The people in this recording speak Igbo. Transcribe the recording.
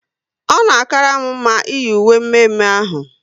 Ọ na akara m mma iyi uwe mme mme ahụ